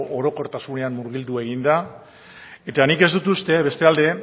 orokortasunean murgildu egin da eta nik ez dut uste bestalde